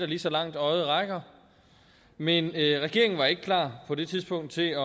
lige så langt øjet rækker men regeringen var ikke klar på det tidspunkt til at